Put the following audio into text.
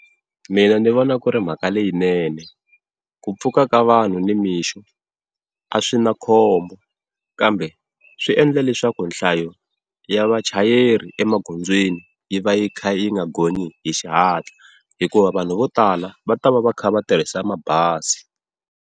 Mina ni vona ku ri mhaka leyinene ku pfuka ka vanhu ni mixo a swi na khombo, kambe swiendla leswaku nhlayo ya vachayeri emagondzweni yi va yi kha yi nga gonyi hi xihatla hikuva vanhu vo tala va ta va va kha va tirhisa mabazi.